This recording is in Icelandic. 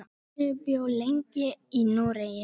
Snorri bjó lengi í Noregi.